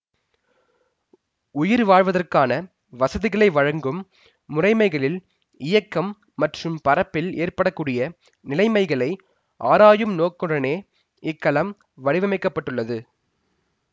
உயிர் வாழ்வதற்கான வசதிகளை வழங்கும் முறைமைகளின் இயக்கம் மற்றும் பறப்பில் ஏற்பட கூடிய நிலைமைகளையும் ஆராயும் நோக்குடனேயே இக்கலம் வடிவமைக்க பட்டுள்ளது